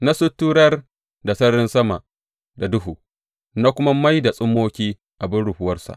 Na suturar da sararin sama da duhu na kuma mai da tsummoki abin rufuwarsa.